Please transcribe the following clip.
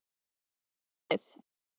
Sný mér við.